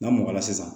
N'a mɔgɔ la sisan